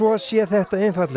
sé þetta